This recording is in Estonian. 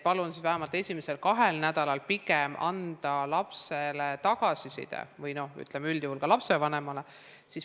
Palun siis vähemalt esimesel kahel nädalal pigem anda lapsele või üldjuhul ka lapsevanemale tagasiside.